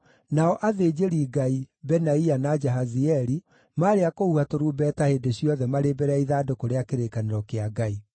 nao athĩnjĩri-Ngai, Benaia na Jahazieli, maarĩ a kũhuha tũrumbeta hĩndĩ ciothe marĩ mbere ya ithandũkũ rĩa kĩrĩkanĩro kĩa Ngai.